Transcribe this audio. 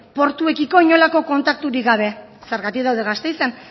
portuekiko inolako kontakturik gabe zergatik daude gasteizen